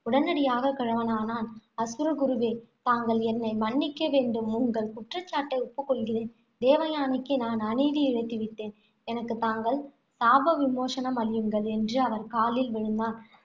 உடனடியாக கிழவனானான். அசுரகுருவே தாங்கள் என்னை மன்னிக்க வேண்டும். உங்கள் குற்றச்சாட்டை ஒப்புக் கொள்கிறேன். தேவயானைக்கு நான் அநீதி இழைத்து விட்டேன். எனக்கு தாங்கள் சாபவிமோசனம் அளியுங்கள் என்று அவர் காலில் விழுந்தான்.